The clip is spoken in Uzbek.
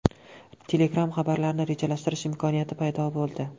Telegram’da xabarlarni rejalashtirish imkoniyati paydo bo‘ldi.